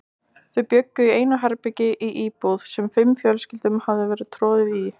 Þau bjuggu í einu herbergi í íbúð, sem fimm fjölskyldum hafði verið troðið í.